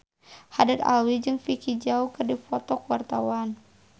Haddad Alwi jeung Vicki Zao keur dipoto ku wartawan